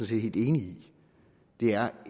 set helt enig i det er